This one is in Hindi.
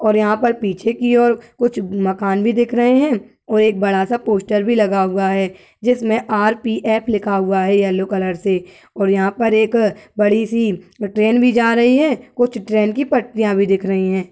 और यहाँं पर पीछे की और कुछ मकान भी देख रहे हैं और एक बड़ा सा पोस्टर भी लगा हुआ है। जिसमें आर.पी.एफ. लिखा हुआ है येलो कलर से और यहाँं पर एक बड़ी सी ट्रेन भी जा रही है। कुछ ट्रेन की पटरियां भी दिख रही हैं।